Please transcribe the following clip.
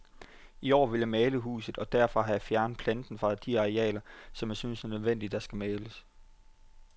I år vil jeg male huset, og derfor har jeg også fjernet planten fra de arealer, som jeg synes nødvendigvis skal males.